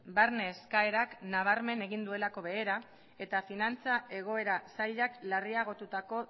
barne eskaerak nabarmen egin duelako behera eta finantza egoera zailak larriagotutako